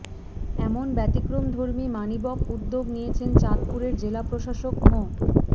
এমন ব্যতিক্রমধর্মী মানিবক উদ্যোগ নিয়েছেন চাঁদপুরের জেলা প্রশাসক মো